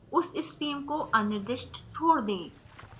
उस stream को अनिर्दिष्ट छोड़ दें